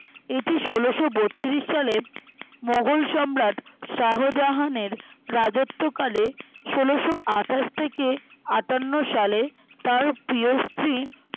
এটি ষোলোশোবত্রিশ সালে মোঘল সম্রাট শাহজাহানের রাজ্যতকালে ষোলোশোআঠাশ থেকে আঠান্ন সালে তার প্রিয় স্ত্রী